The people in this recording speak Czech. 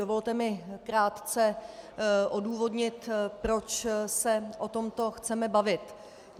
Dovolte mi krátce odůvodnit, proč se o tomto chceme bavit.